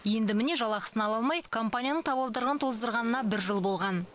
енді міне жалақысын ала алмай компанияның табалдырығын тоздырғанына бір жыл болған